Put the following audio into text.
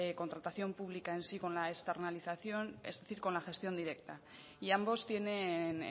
contratación pública en sí con la externalización es decir con la gestión directa y ambos tienen